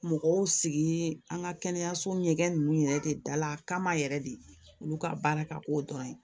Mɔgɔw sigi an ka kɛnɛyaso ɲɛgɛn ninnu yɛrɛ de dala kama yɛrɛ de olu ka baara ka k'o dɔrɔn ye